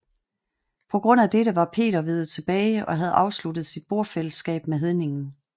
På grund af dette var Peter veget tilbage og havde afsluttet sit bordfællesskab med hedningerne